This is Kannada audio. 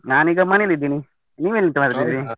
ನಾನೀಗ ಮನೇಲಿದ್ದೀನಿ, ನೀವೆಂತ